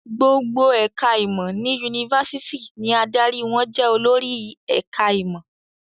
Gbogbo ẹ̀ka-ìmọ̀ ní yunifásitì ni adarí wọn jẹ olórí ẹ̀ka-ìmọ̀.